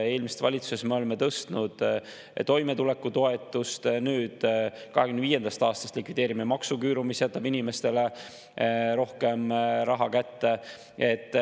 Eelmises valitsuses me tõstsime toimetulekutoetust, nüüd 2025. aastast likvideerime maksuküüru ja see jätab inimestele rohkem raha kätte.